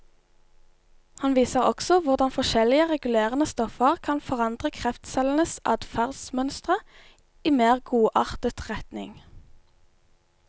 Han viser også hvordan forskjellige regulerende stoffer kan forandre kreftcellenes adferdsmønstre i mer godartet retning.